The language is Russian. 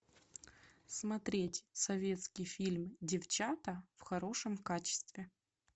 смотреть советский фильм девчата в хорошем качестве